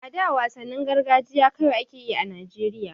A da wasannin gargajiya kawai a ke yi a Najeriya.